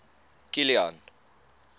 kilian